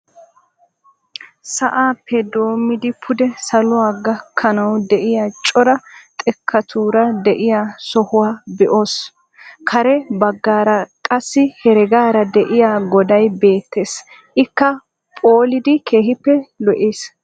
Sa'aappe doommidi pude saluwaa gaakkanawu de'iyaa cora xeekkatura de'iyaa sohuwaa be'oos. kare baggaara qassi heregaara de'iyaa goday beettees. ikka phoolidi keehippe lo"iis.